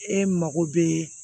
E mago bɛ